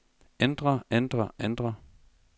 ændre ændre ændre